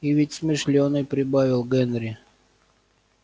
и ведь смышлёный прибавил генри